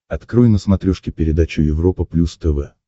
открой на смотрешке передачу европа плюс тв